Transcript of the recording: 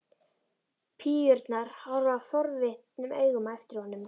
Píurnar horfa forvitnum augum á eftir honum.